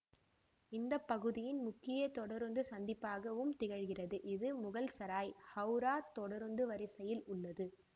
இந்த பகுதியின் முக்கிய தொடருந்து சந்திப்பாகவும் திகழ்கிறது இது முகல்சராய் ஹவுரா தொடருந்து வரிசையில் உள்ளது